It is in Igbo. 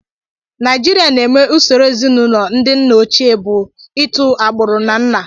Naijiria na-eme usoro ezinụlọ ndị nna ochie bu itu agbụrụ na nna.